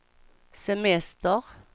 semester